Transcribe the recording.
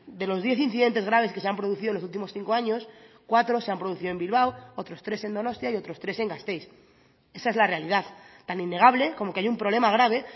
de los diez incidentes graves que se han producido en los últimos cinco años cuatro se han producido en bilbao otros tres en donostia y otros tres en gasteiz esa es la realidad tan innegable como que hay un problema grave